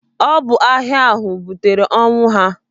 Ọ bụ agha ahụ butere ọnwụ ha.